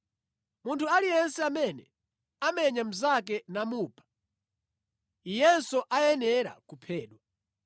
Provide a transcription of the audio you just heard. “Munthu aliyense amene amenya mnzake namupha, iyenso ayenera kuphedwa.